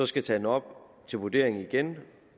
skal tage den op til vurdering igen